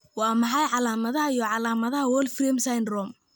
Waa maxay calaamadaha iyo calaamadaha Wolfram syndrome?